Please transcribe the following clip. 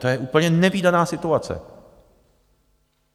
To je úplně nevídaná situace.